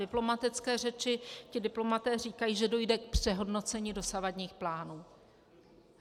Diplomatické řeči - ti diplomaté říkají, že dojde k přehodnocení dosavadních plánů.